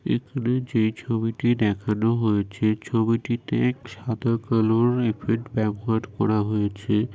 এখানে যে ছবিটি দেখানো হয়েছে ছবিটিতে সাদা কালার এফেক্ট ব্যবহার করা হয়েছে।